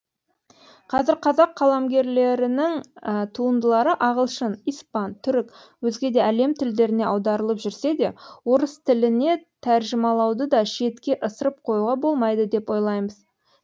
қазір қазақ қаламгерлерінің туындылары ағылшын испан түрік өзге де әлем тілдеріне аударылып жүрсе де орыс тіліне тәржімалауды да шетке ысырып қоюға болмайды деп ойлаймыз